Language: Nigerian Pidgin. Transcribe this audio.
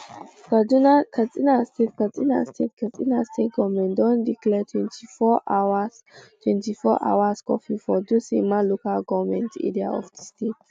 katsina state katsina state katsina state goment don declare twenty four hours twenty-fourhrs curfew for dutsinma local goment area of di state